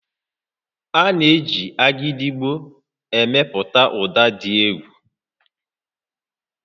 A na-eji Agidigbo emepụta ụda dị egwu